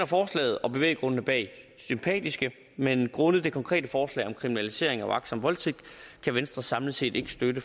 forslaget og bevæggrundene bag sympatiske men grundet det konkrete forslag om kriminalisering af uagtsom voldtægt kan venstre samlet set ikke støtte